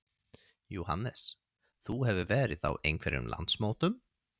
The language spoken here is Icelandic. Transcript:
Jóhannes: Þú hefur verið á einhverjum landsmótum?